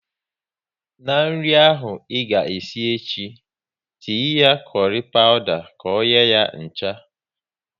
Na nri ahụ ị ga esi echi, tinye kurry pawuda ka ọ nye ya ncha!